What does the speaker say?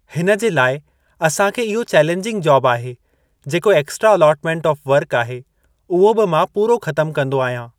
हिन जे लाइ असांखे इहो चैलेंजिंग जॉब आहे जेको एक्स्ट्रा अलॉटमेंट ऑफ़ वर्क आहे उहो बि मां पूरो ख़तमु कंदो आयां ।